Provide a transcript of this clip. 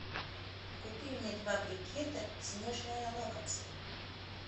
купи мне два брикета снежное лакомство